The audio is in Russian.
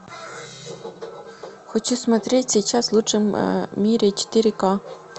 хочу смотреть сейчас в лучшем мире четыре к